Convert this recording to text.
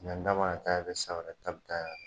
Ɲinɛ ta mana taa yan fɛ, san wɛrɛ ta bɛ taa yan fɛ.